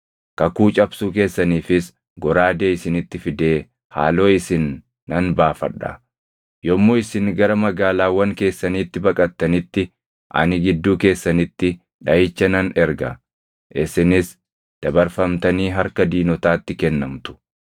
Kakuu cabsuu keessaniifis goraadee isinitti fidee haaloo isin nan baafadha. Yommuu isin gara magaalaawwan keessaniitti baqattanitti ani gidduu keessanitti dhaʼicha nan erga; isinis dabarfamtanii harka diinotaatti kennamtu.